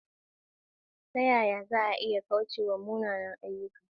Ta yaya za a iya kauce wa munanan ayyuka?